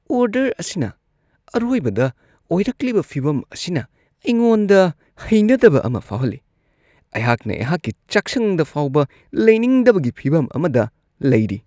Order ꯑꯁꯤꯅ ꯑꯔꯣꯏꯕꯗ ꯑꯣꯏꯔꯛꯂꯤꯕ ꯐꯤꯕꯝ ꯑꯁꯤꯅ ꯑꯩꯉꯣꯟꯗ ꯍꯩꯅꯗꯕ ꯑꯃ ꯐꯥꯎꯍꯜꯂꯤ꯫ ꯑꯩꯍꯥꯛꯅ ꯑꯩꯍꯥꯛꯀꯤ ꯆꯥꯛꯁꯪꯗ ꯐꯥꯎꯕ ꯂꯩꯅꯤꯡꯗꯕꯒꯤ ꯐꯤꯕꯝ ꯑꯃꯗ ꯂꯩꯔꯤ ꯫